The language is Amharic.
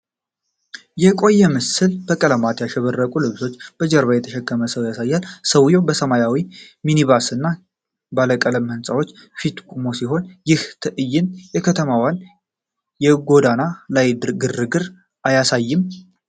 የቆየ ምስል በቀለማት ያሸበረቁ ልብሶችን በጀርባው የተሸከመ ሰው ያሳያል፤ ሰውዬው በሰማያዊ ሚኒባስ እና ባለቀለም ህንፃዎች ፊት ቆሞ ሲሆን፣ ይህ ትዕይንት የከተማዋን የጎዳና ላይ ግርግር አያሳይም?